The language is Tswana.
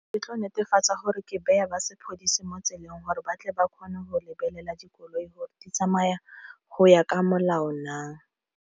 Ke tlo netefatsa gore ke baya ba sepodisi mo tseleng gore batle ba kgone go lebelela dikoloi gore di tsamaya go ya ka molao na..